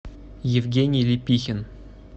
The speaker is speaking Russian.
евгений лепихин